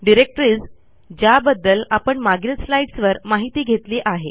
२डिरेक्टरीज ज्याबद्दल आपण मागील स्लाईड्स वर माहिती घेतली आहे